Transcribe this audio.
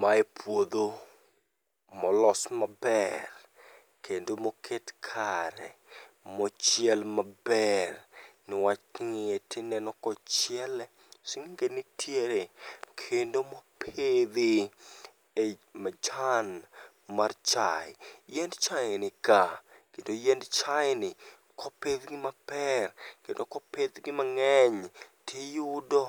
Mae puodho molos maber kendo moket kare mochiel maber nwach king'iye tineno kochiele, sng'enge ntiere kendo mopidhi e i majan mar chae. Yiend chae nikaa, kendo yiend chae ni kopidhgi maber kendo kopidhgi mang'eny tiyudo